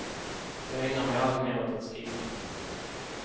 Jag ägnar mig alltmer åt att skriva.